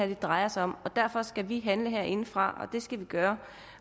det drejer sig om derfor skal vi handle herindefra og det skal vi gøre